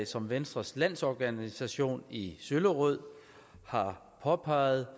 som venstres landsorganisation i søllerød har påpeget